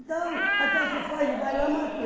Então, até que foge, vai lá, matou.